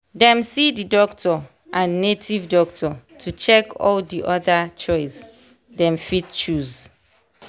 dem see the doctor and native doctor to check all di other choice dem fit choose